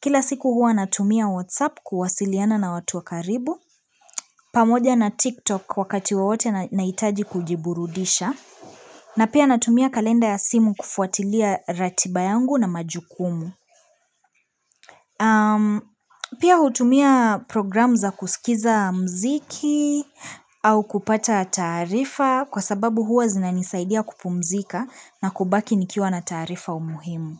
Kila siku hua natumia WhatsApp kuwasiliana na watu wakaribu, pamoja na TikTok wakati wowote nahitaji kujiburudisha, na pia natumia kalenda ya simu kufuatilia ratiba yangu na majukumu. Pia hutumia program za kusikiza mziki au kupata taarifa kwa sababu huwa zina nisaidia kupumzika na kubaki nikiwa na tarifa umuhimu.